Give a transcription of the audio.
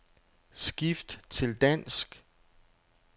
Skift til dansk.